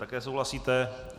Také souhlasíte.